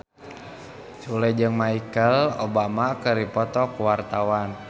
Sule jeung Michelle Obama keur dipoto ku wartawan